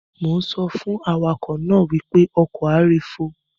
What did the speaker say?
Mo ń sọ fún awakọ̀ náà wípé "ọkọ̀ a ré fò".